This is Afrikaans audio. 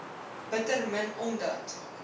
bitter min omdat